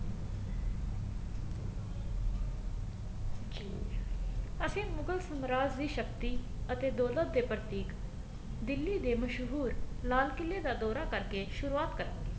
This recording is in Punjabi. ਜੀ ਅਸੀਂ ਮੁਗ਼ਲ ਸਾਮਰਾਜ ਦੀ ਸਕਤੀ ਅਤੇ ਦੋਲਤ ਦੇ ਪ੍ਰਤੀ ਦਿੱਲੀ ਦੇ ਮਸ਼ਹੂਰ ਲਾਲ ਕਿਲੇ ਦਾ ਦੋਰਾ ਕਰਕੇ ਸ਼ੁਰਵਾਤ ਕਰਾਂਗੇ